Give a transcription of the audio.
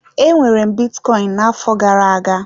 Enwere m bitcoin na-afo gara-aga.